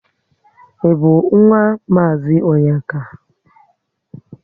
Ị bu nwa mazi Onyeka?